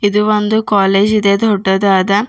ಇದು ಒಂದು ಕಾಲೇಜ್ ಇದೆ ದೊಡ್ಡದಾದ.